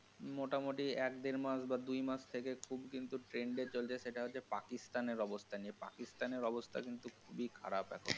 মোটামোটি এক দেড় মাস বা দুই মাস থেকে খুব কিন্তু trend এ চলছে সেটা হচ্ছে পাকিস্তান এর অবস্থা নিয়ে। পাকিস্তান এর অবস্থা কিন্তু খুবই খারাপ এখন.